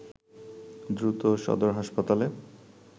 দ্রুত সদর হাসপাতালে